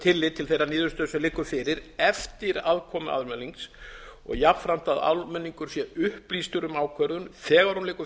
tillit til þeirrar niðurstöðu sem liggur fyrir eftir aðkomu almennings og jafnframt að almenningur sé upplýstur um ákvörðun þegar hún liggur